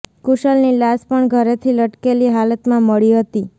કુશલ ની લાશ પણ ઘરેથી લટકેલી હાલતમાં મળી હતી